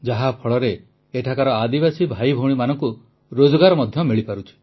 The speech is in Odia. ଯାହା ଫଳରେ ଏଠାକାର ଆଦିବାସୀ ଭାଇଭଉଣୀମାନଙ୍କୁ ରୋଜଗାର ମଧ୍ୟ ମିଳିପାରୁଛି